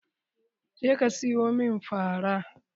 Je ka siyo min fara!